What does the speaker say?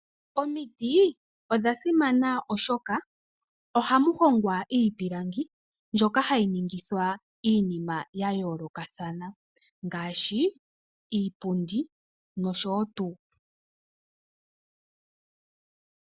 Omiti odha simana oshoka ohamu hongwa iipilangi mbyoka hayi ningithwa iinima ya yoolokathana. Ngaashi iipundi nosho tuu